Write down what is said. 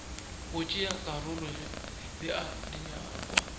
go tšea karolo bea dinyakwa